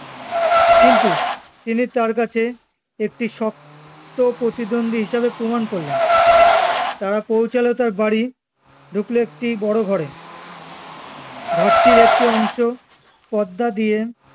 কিন্তু তিনি তার কাছে একটি সপ্ত প্রতিদন্ধি হিসেবে প্রমান করলেন তারা পৌঁছালো তার বাড়ি ঢুকলো একটি বড়ো ঘরে ঘরটির একটি অংশ পর্দা দিয়ে